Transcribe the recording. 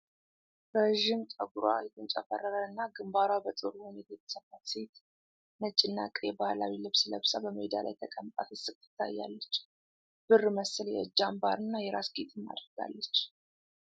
ረዥም ጠጉሯ የተንጨፈረረና ግንባሯ በጥሩ ሁኔታ የተሰፋች ሴት፣ ነጭና ቀይ ባህላዊ ልብስ ለብሳ በሜዳ ላይ ተቀምጣ ስትስቅ ትታያለች፤ ብር መሰል የእጅ አምባርና የራስ ጌጥም አድርጋለች።